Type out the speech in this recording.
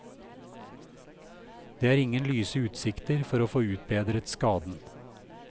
Det er ingen lyse utsikter for å få utbedret skaden.